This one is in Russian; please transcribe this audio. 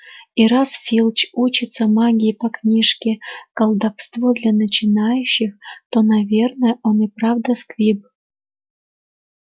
и раз филч учится магии по книжке колдовство для начинающих то наверное он и правда сквиб